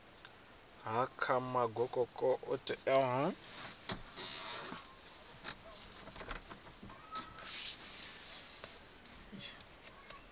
ha kha magokoko o itelwaho